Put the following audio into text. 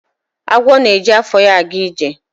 Agwọ na-eji afọ ya aga ije.